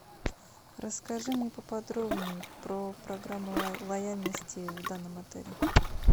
расскажи мне поподробней про программу лояльности в данном отеле